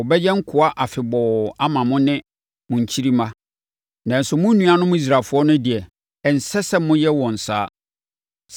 Wɔbɛyɛ nkoa afebɔɔ ama mo ne mo nkyirimma, nanso mo nuanom Israelfoɔ no deɛ, ɛnsɛ sɛ moyɛ wɔn saa.